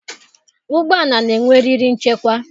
Ụgbọala na-enwe eriri nchekwa.